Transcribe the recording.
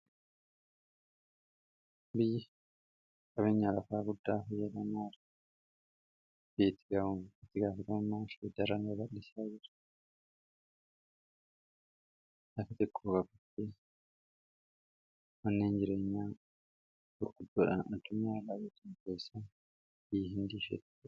biyyi qabinya lafaa guddaa hoyyadanaar ti ittigaa'u ittigaafatamaafhe daran abalisaa jira laka tiqkoo kabate wanniin jireenya burquddoodhan atumaa laabatiin keessaa biyyi hin diifhettu